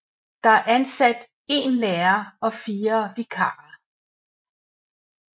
Der er ansat én lærer og fire vikarer